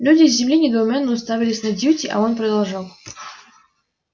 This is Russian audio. люди с земли недоуменно уставились на дьюти а он продолжал